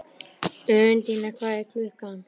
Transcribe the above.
Undína, hvað er klukkan?